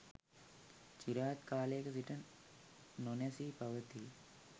චිරාත් කාලයක සිට නොනැසී පවතී.